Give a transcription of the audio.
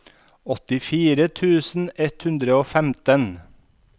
åttifire tusen ett hundre og femten